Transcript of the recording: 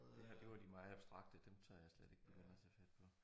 Det her det var de meget abstrakte dem tør jeg slet ikke begynde at tage fat på